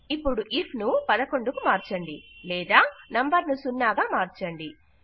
ఇపుడు ఐఎఫ్ ను 11 కు మార్చండి లేదా నంబర్ ను 0 గా మార్చండి